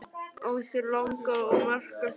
Á sér langa og merka sögu.